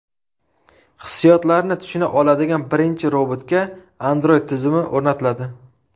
Hissiyotlarni tushuna oladigan birinchi robotga Android tizimi o‘rnatiladi.